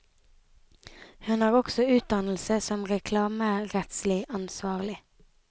Hun har også utdannelse som reklamerettslig ansvarlig.